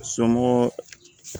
Somɔgɔ